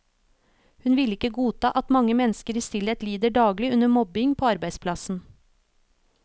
Hun ville ikke godta at mange mennesker i stillhet lider daglig under mobbing på arbeidsplassen.